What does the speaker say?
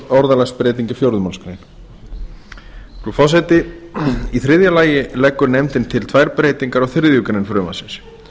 orðalagsbreyting í fjórðu málsgrein frú forseti í þriðja lagi leggur nefndin til tvær breytingar á þriðju greinar frumvarpsins